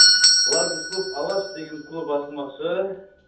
ларгус клуб алаш деген клуб ашылмақшы